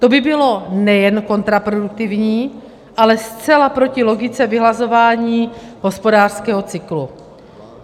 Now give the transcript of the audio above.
To by bylo nejen kontraproduktivní, ale zcela proti logice vyhlazování hospodářského cyklu.